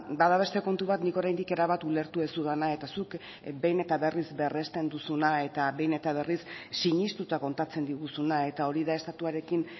bada beste kontu bat nik oraindik erabat ulertu ez dudana eta zuk behin eta berriz berresten duzuna eta behin eta berriz sinestuta kontatzen diguzuna eta hori da estatuarekin